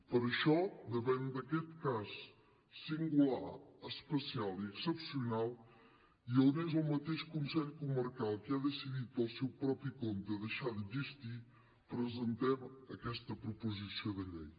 per això davant d’aquest cas singular especial i excepcional i on és el mateix consell comarcal qui ha decidit pel seu propi compte deixar d’existir presentem aquesta proposició de llei